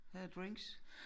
Her er drinks